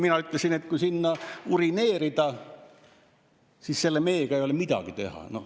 Mina ütlesin, et kui sinna urineerida, siis selle meega ei ole midagi teha.